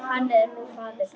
Hann er nú faðir þeirra.